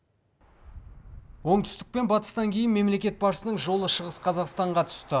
оңтүстік пен батыстан кейін мемлекет басшысының жолы шығыс қазақстанға түсті